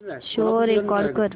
show record कर